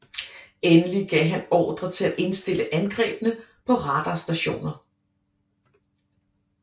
Endelig gav han ordre til at indstille angrebene på radarstationer